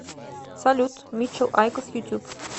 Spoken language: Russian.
салют митчел айкос ютюб